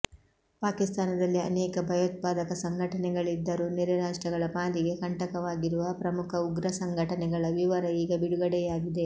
ಪಾಕಿಸ್ತಾನದಲ್ಲಿ ಆನೇಕ ಭಯೋತ್ಪಾದಕ ಸಂಘಟನೆಗಳಿದ್ದರೂ ನೆರೆ ರಾಷ್ಟ್ರಗಳ ಪಾಲಿಗೆ ಕಂಟಕವಾಗಿರುವ ಪ್ರಮುಖ ಉಗ್ರ ಸಂಘಟನೆಗಳ ವಿವರ ಈಗ ಬಿಡುಗಡೆಯಾಗಿದೆ